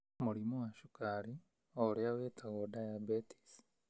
Mũrimũ wa cukari, o ũrĩa ũtagwo diabetes.